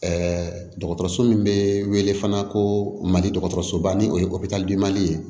Ɛɛ dɔgɔtɔrɔso min be wele fana ko mali dɔgɔtɔrɔsoba ni o bi mali ye